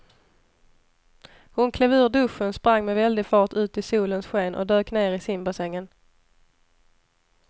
Hon klev ur duschen, sprang med väldig fart ut i solens sken och dök ner i simbassängen.